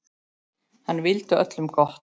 Hann vildi öllum gott.